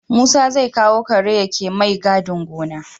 Musa zai kawo kare yake mai gadin gona